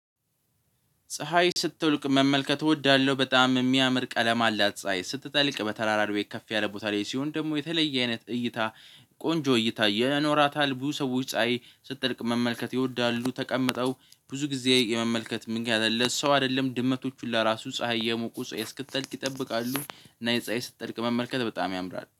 ፀሀይ ስትልቅ መመልከት እወዳለሁ በጣም የሚያምር ቀለም አላት ፀሀይ ስትጠልቅ በተራራሪዌ ከፍ ያለ ቦታ ላይ ሲሆን ደግሞ የተለየ አይነት እይታ ቆንጆ እይታ ይኖራታል። ብዙ ሰዎች ፀሀይ ስጠልቅ መመልከት ይወዳሉ ተቀምጠው ብዙ ጊዜ የመመልከት ምጊያት አለ። ሰው አይደለም ድመቶቹ ለራሱ ፀሀይ የሞቁ እስክትጠልቅ ይጠብቃሉ። እና የፀሀይ ስትጠልቅ መመልከት በጣም ያምራል